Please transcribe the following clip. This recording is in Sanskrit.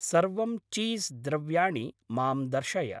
सर्वं चीस् द्रव्याणि मां दर्शय।